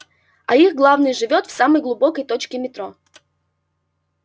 а их главный живёт в самой глубокой точке метро